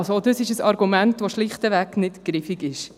Auch dies ist ein Argument, das schlichtweg nicht greift.